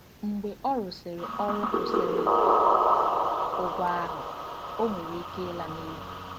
Mgbe ọ rụsịrị ọrụ kwụsịrị ụgwọ ahụ, ọ nwere ike ịla n'efu.